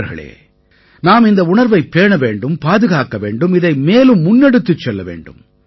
நண்பர்களே நாம் இந்த உணர்வைப் பேண வேண்டும் பாதுகாக்க வேண்டும் இதை மேலும் முன்னெடுத்துச் செல்ல வேண்டும்